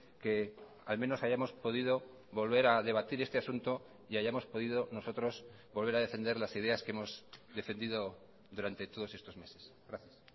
que al menos hayamos podido volver a debatir este asunto y hayamos podido nosotros volver a defender las ideas que hemos defendido durante todos estos meses gracias